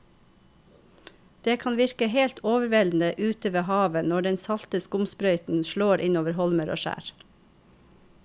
Det kan virke helt overveldende ute ved havet når den salte skumsprøyten slår innover holmer og skjær.